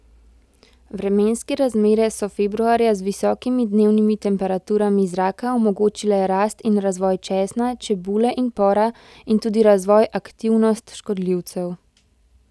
Vremenske razmere so februarja z visokimi dnevnimi temperaturami zraka omogočile rast in razvoj česna, čebule in pora in tudi razvoj aktivnost škodljivcev.